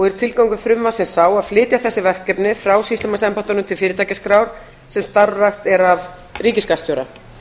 er tilgangur frumvarpsins sá að flytja þessi verkefni frá sýslumannsembættunum til fyrirtækjaskrár sem starfrækt er af ríkisskattstjóra